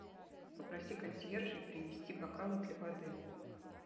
попроси консьержей принести бокалы для воды